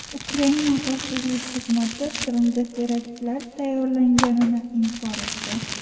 Ukraina xavfsizlik xizmati Qrimda teraktlar tayyorlanganini inkor etdi.